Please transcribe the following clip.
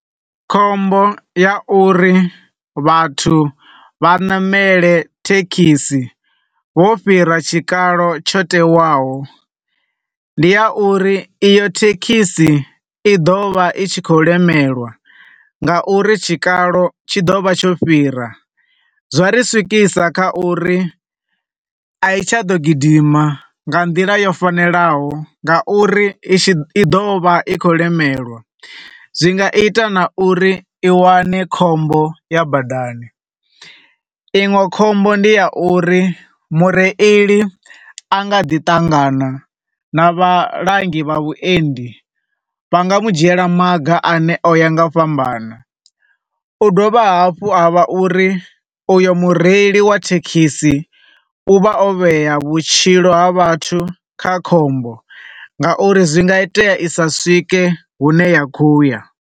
Khombo ya uri vhathu vha namele thekhisi vho fhira tshikalo tsha tewaho, ndi ya uri iyo thekhisi i ḓo vha i tshi khou lemelwa nga uri tshikalo tshi ḓo vha tsho fhira. Zwa ri swikisa kha uri a i tsha ḓo gidima nga ndila yo fanelaho nga uri i tshi, i ḓo vha i khou lemelwa, zwi nga ita na uri i wane khombo ya badani. Iṅwe khombo ndi ya uri mureili anga ḓi ṱangana na vhalangi vha vhuendi vha nga mu dzhiela maga ane o ya nga u fhambana. U dovha hafhu ha vha uri u yo mureili wa thekhisi u vha o vheya vhutshilo ha vhathu kha khombo nga uri zwi nga itea i sa swike hune ya khou ya.